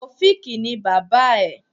Tàòfíkì ni bàbá ẹ̀.